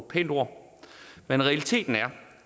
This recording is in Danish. pænt ord men realiteten er